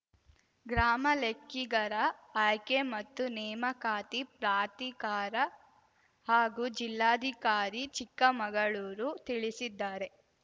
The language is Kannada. ಗ್ರಾಮ ಲೆಕ್ಕಿಗರ ಆಯ್ಕೆ ಮತ್ತು ನೇಮಕಾತಿ ಪ್ರಾಧಿಕಾರ ಹಾಗೂ ಜಿಲ್ಲಾಧಿಕಾರಿ ಚಿಕ್ಕಮಗಳೂರು ತಿಳಿಸಿದ್ದಾರೆ